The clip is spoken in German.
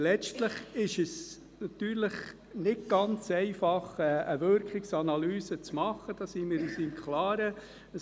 Letztlich ist es natürlich nicht ganz einfach, eine Wirkungsanalyse zu machen, darüber sind wir uns im Klaren.